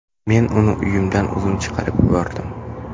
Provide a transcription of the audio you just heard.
Men uni uyimdan o‘zim chiqarib yubordim.